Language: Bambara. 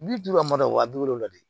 Bi duuru b'a mara wa bi wolonwula de